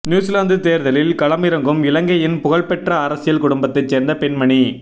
New Zealand தேர்தலில் களமிறங்கும் இலங்கையின் புகழ்பெற்ற அரசியல் குடும்பத்தைச் சேர்ந்த பெண்மணி